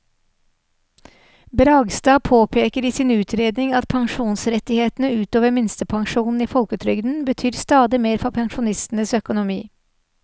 Bragstad påpeker i sin utredning at pensjonsrettighetene ut over minstepensjonen i folketrygden betyr stadig mer for pensjonistenes økonomi.